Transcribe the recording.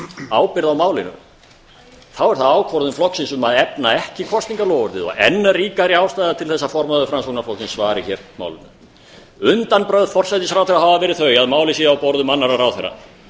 ábyrgð á málinu er það ákvörðun flokksins um að efna ekki kosningaloforðið og enn ríkari ástæða til að formaður framsóknarflokksins svari hér málinu undanbrögð forsætisráðherra hafa verið þau að málið sé á borðum annarra ráðherra